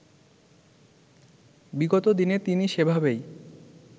বিগত দিনে তিনি সেভাবেই